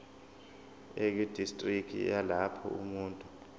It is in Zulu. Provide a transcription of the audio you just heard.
ekudistriki yalapho umuntu